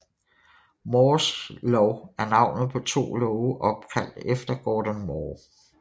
Moores lov er navnet på to love opkaldt efter Gordon Moore